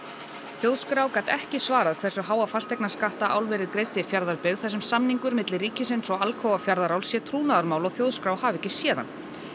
þjóðskrá gat ekki svarað hversu háa fasteignaskatta álverið greiddi Fjarðabyggð þar sem samningur milli ríkisins og Alcoa Fjarðaráls sé trúnaðarmál og þjóðskrá hafi ekki séð hann